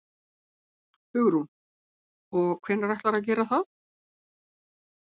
Hugrún: Og hvenær ætlarðu að gera það?